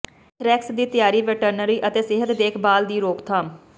anthrax ਦੀ ਤਿਆਰ veterinary ਅਤੇ ਸਿਹਤ ਦੇਖਭਾਲ ਦੀ ਰੋਕਥਾਮ